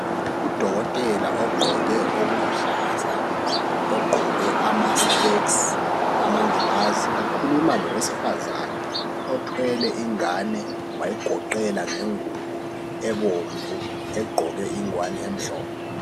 Udokotela ogqoke okuluhlaza , ogqoke ama specs amangilazi ukhuluma lowesifazane othwele ingane wayigoqela ngengubo ebomvu egqoke ingwane emhlophe